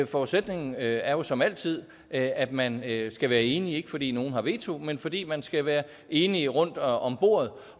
forudsætningen er jo som altid at at man skal være enige ikke fordi nogen har veto men fordi man skal være enige rundt om bordet